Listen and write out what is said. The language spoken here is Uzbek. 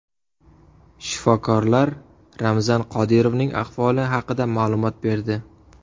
Shifokorlar Ramzan Qodirovning ahvoli haqida ma’lumot berdi.